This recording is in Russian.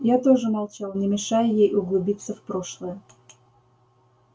я тоже молчал не мешая ей углубиться в прошлое